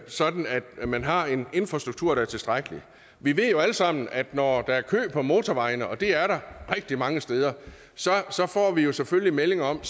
sådan at man har en infrastruktur der er tilstrækkelig vi ved jo alle sammen at når der er kø på motorvejene og det er der rigtig mange steder så så får vi selvfølgelig meldinger om